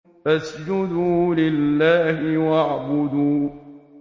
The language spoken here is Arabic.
فَاسْجُدُوا لِلَّهِ وَاعْبُدُوا ۩